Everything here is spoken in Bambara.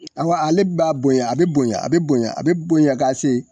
I awɔ ale b'a bonya a bɛ bonya a bɛ bonya a bɛ bonya ka se